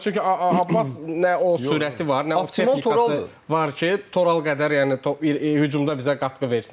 Çünki Abbas nə sürəti var, nə o texnikası var ki, Toral qədər, yəni hücumda bizə qatqı versin.